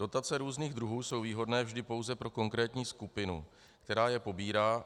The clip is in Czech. Dotace různých druhů jsou výhodné vždy pouze pro konkrétní skupinu, která je pobírá.